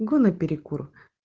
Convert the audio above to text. го на перекур